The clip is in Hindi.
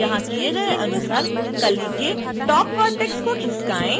यहां किए गए अनुसार कली के top vertex को खिसकाएँ